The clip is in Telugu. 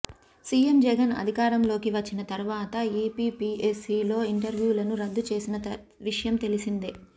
సీఎం జగన్ అధికారంలోకి వచ్చిన తరువాత ఏపీపీఎస్సీలో ఇంటర్వ్యూలను రద్దు చేసిన విషయం తెలిసిందే